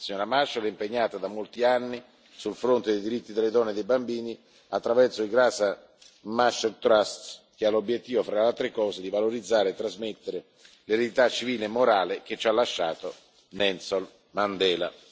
La signora Machel è impegnata da molti anni sul fronte dei diritti delle donne e dei bambini attraverso il Graça Machel Trust che ha l'obiettivo, tra le altre cose, di valorizzare e trasmettere l'eredità civile e morale che ci ha lasciato Nelson Mandela.